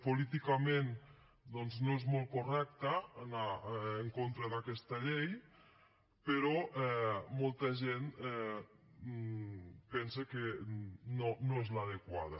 políticament doncs no és molt correcte anar en contra d’aquesta llei però molta gent pensa que no és l’adequada